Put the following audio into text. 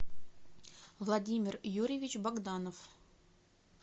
владимир юрьевич богданов